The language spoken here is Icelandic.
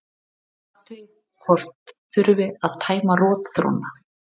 Athugið hvort þurfi að tæma rotþróna.